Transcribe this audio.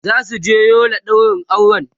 zasu je Yola ɗaurin aure